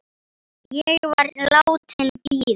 Ég var látin bíða.